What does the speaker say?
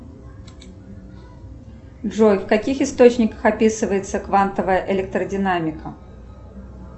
джой в каких источниках описывается квантовая электродинамика